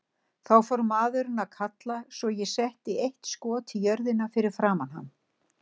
Þá fór maðurinn að kalla svo ég setti eitt skot í jörðina fyrir framan hann.